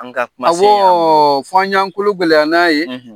An ka kumasen yan , awɔ ,fɔ y'an kolo gɛlɛya n'a ye.